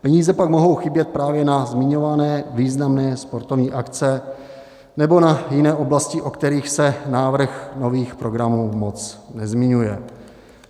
peníze pak mohou chybět právě na zmiňované významné sportovní akce nebo na jiné oblasti, o kterých se návrh nových programů moc nezmiňuje.